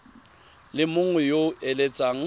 le mongwe yo o eletsang